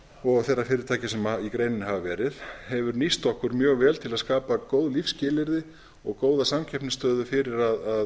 og þeirra fyrirtækja sem í greininni hafa verið hefur nýst okkur mjög vel til að skapa góð lífsskilyrði og góða samkeppnisstöðu fyrir að skapa